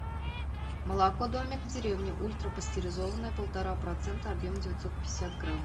молоко домик в деревне ультрапастеризованное полтора процента объем девятьсот пятьдесят грамм